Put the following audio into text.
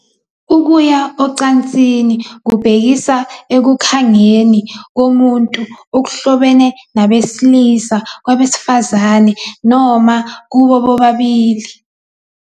Ukuya ocansini kubhekisa ekukhangeni komuntu okuhlobene nabesilisa, kwabesifazane, noma kubo bobabili.